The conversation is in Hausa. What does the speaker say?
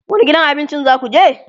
wani gidan abincin zakuje?